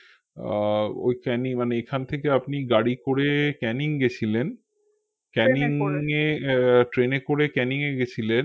আহ ওই ক্যানি মানে এখান থেকে আপনি গাড়ি করে ক্যানিং গেছিলেন ক্যানিং এ ট্রেন এ করে ক্যানিং গেছিলেন